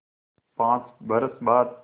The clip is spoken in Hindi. पाँच बरस बाद